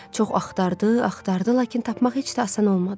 Çox axtardı, axtardı, lakin tapmaq heç də asan olmadı.